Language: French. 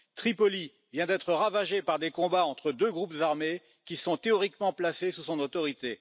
Tripoli vient d'être ravagée par des combats entre deux groupes armés qui sont théoriquement placés sous son autorité.